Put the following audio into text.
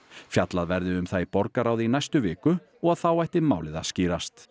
fjallað verði um það í borgarráði í næstu viku og að þá ætti málið að skýrast